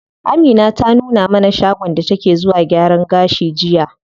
Amina ta nuna mana shagon da take zuwa gyaran gashi jiya.